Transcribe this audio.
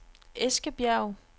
Eskebjerg